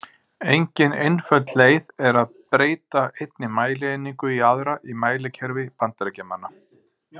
Engin einföld leið er að breyta einni mælieiningu í aðra í mælikerfi Bandaríkjamanna.